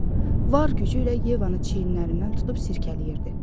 Var gücü ilə Yevanı çiyinlərindən tutub sirkələyirdi.